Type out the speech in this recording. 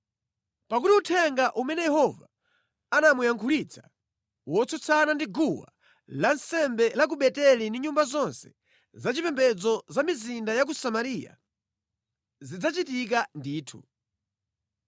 Pakuti uthenga umene Yehova anamuyankhulitsa, wotsutsana ndi guwa lansembe la ku Beteli ndi nyumba zonse za chipembedzo za mʼmizinda ya ku Samariya, zidzachitika ndithu.”